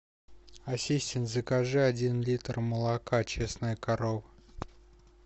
ассистент закажи один литр молока честная корова